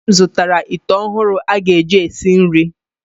Nne m zụtara ite ọhụrụ aga eji esi nri.